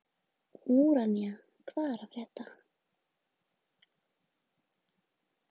Úranía, hvað er að frétta?